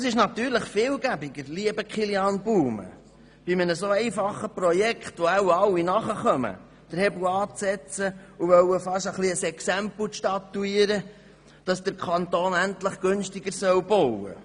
Es ist natürlich viel einfacher, lieber Grossrat Baumann, bei einem Projekt, das wahrscheinlich alle verstehen, den Hebel anzusetzen und fast ein bisschen ein Exempel zu statuieren, damit der Kanton endlich günstiger baut.